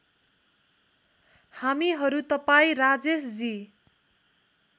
हामीहरू तपाईँ राजेशजी